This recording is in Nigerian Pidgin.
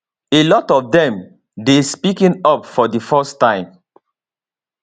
a lot of dem dey speaking up for di first time